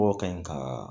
Bɔ ka ɲi ka